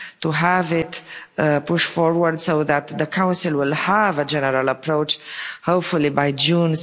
We have to push forward so that the Council will have a general approach hopefully by June.